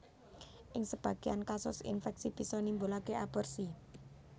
Ing sebagéyan kasus infèksi bisa nimbulaké aborsi